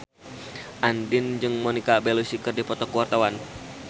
Andien jeung Monica Belluci keur dipoto ku wartawan